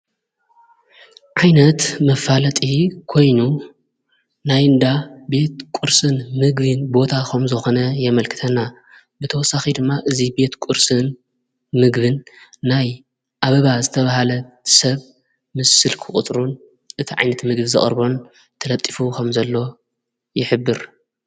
ዓይነት መፋለጢ ኮይኑ ናይ ንዳ ቤት ቊርስን ምግብን ቦታ ኸም ዞኾነ የመልክተና ብተወሳኺ ድማ እዙይ ቤት ቊርስን ምግብን ናይ ኣበባ ዝተብሃለ ሰብ ምስል ክቕጥሩን እቲ ዓይንት ምግብ ዘቐርቦን ተለጢፉ ኸም ዘሎ ይኅብር::